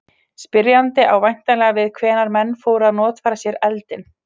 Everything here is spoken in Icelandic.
Spyrjandi á væntanlega við hvenær menn fóru að notfæra sér eldinn.